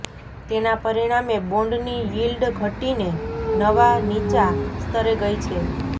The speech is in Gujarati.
તેના પરિણામે બોન્ડની યીલ્ડ ઘટીને નવા નીચા સ્તરે ગઈ છે